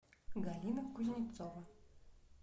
галина кузнецова